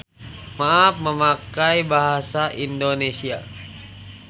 Maaf memakai bahasa Indonesia.